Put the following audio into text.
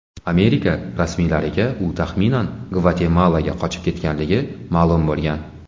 Amerika rasmiylariga u taxminan Gvatemalaga qochib ketganligi ma’lum bo‘lgan.